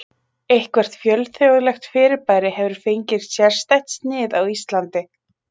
eitthvert fjölþjóðlegt fyrirbæri hefur fengið sérstætt snið á íslandi